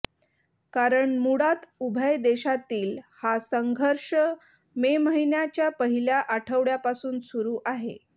कारण मुळात उभय देशातील हा संघर्ष मे महिन्याच्या पहिल्या आठवड्यापासून सुरू आहे